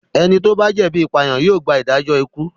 Ẹni tó bá jẹ̀bi ìpànìyàn yóò gba ìdájọ́ ikú.